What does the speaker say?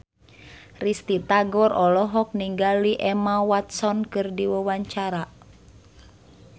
Risty Tagor olohok ningali Emma Watson keur diwawancara